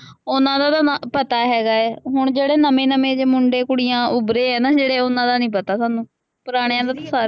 ਉਹਨਾ ਦਾ ਤਾਂ ਨਾਂ ਪਤਾ ਹੈਗਾ ਹੈ, ਹੁਣ ਜਿਹੜੇ ਨਵੇਂ ਨਵੇਂ ਜਿਹੇ ਮੁੰਡੇ ਕੁੜੀਆਂ ਉੱਭਰੇ ਹੈ ਨਾ ਜਿਹੜੇ ਉਹਨਾ ਦਾ ਨਹੀਂ ਪਤਾ ਸਾਨੂੰ, ਪੁਰਾਣਿਆਂ ਦਾ ਸਾਰਿਆਂ